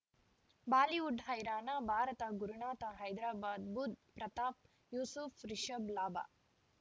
Bollywood ಹೈರಾಣ ಭಾರತ ಗುರುನಾಥ ಹೈದರಾಬಾದ್ ಬುಧ್ ಪ್ರತಾಪ್ ಯೂಸುಫ್ ರಿಷಬ್ ಲಾಭ